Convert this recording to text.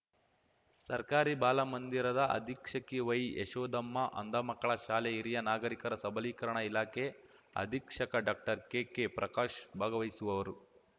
ಸರ್ಕಾರಿ ಬಾಲ ಮಂದಿರದ ಅಧೀಕ್ಷಕಿ ವೈಯಶೋಧಮ್ಮ ಅಂಧ ಮಕ್ಕಳ ಶಾಲೆ ಹಿರಿಯ ನಾಗರೀಕರ ಸಬಲೀಕರಣ ಇಲಾಖೆ ಅಧೀಕ್ಷಕ ಡಾಕ್ಟರ್ಕೆಕೆಪ್ರಕಾಶ್ ಭಾಗವಹಿಸುವವರು